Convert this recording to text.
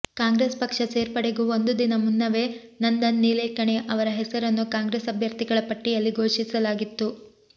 ಕಾಂಗ್ರೆಸ್ ಪಕ್ಷ ಸೇರ್ಪಡೆಗೂ ಒಂದು ದಿನ ಮುನ್ನವೇ ನಂದನ್ ನಿಲೇಕಣಿ ಅವರ ಹೆಸರನ್ನು ಕಾಂಗ್ರೆಸ್ ಅಭ್ಯರ್ಥಿಗಳ ಪಟ್ಟಿಯಲ್ಲಿ ಘೋಷಿಸಲಾಗಿತ್ತು